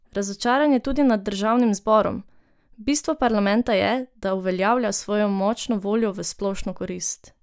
Razočaran je tudi nad državnim zborom: "Bistvo parlamenta je, da uveljavlja svojo močno voljo v splošno korist.